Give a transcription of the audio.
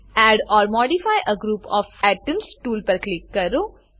add or modify a group of atoms tool પર click કરો